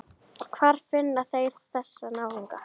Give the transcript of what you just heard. Hvar finna þeir þessa náunga??